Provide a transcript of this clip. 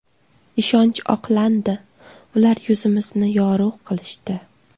Ishonch oqlandi, ular yuzimizni yorug‘ qilishdi.